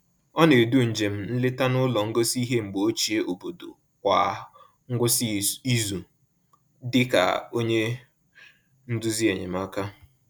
Ọ na-edu njem nleta n’ụlọ ngosi ihe mgbe ochie obodo kwa ngwụsị izu dị ka onye nduzi enyemaka.